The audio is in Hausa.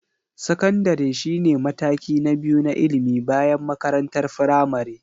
Sakandare shine mataki na biyu na ilimi bayan makarantar firamare.